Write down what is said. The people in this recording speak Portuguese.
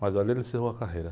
Mas ali ele encerrou a carreira.